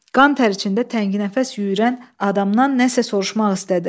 Qan tər içində təngənəfəs yüyürən adamdan nəsə soruşmaq istədi.